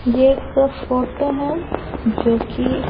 ये एक फोटो हैं जो कि--